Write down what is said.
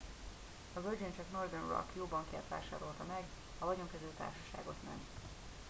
a virgin csak northern rock jó bankját vásárolta meg a vagyonkezelő társaságot nem